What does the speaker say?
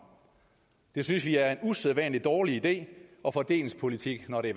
det synes vi er en usædvanlig dårlig idé og fordelingspolitik når det